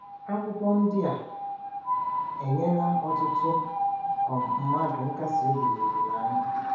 Akwụkwọ ndị a enyela ọtụtụ um mmadụ nkasiobi na olileanya.